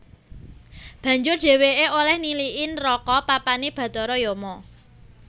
Banjur dhèwèké olèh niliki neraka papané bathara Yama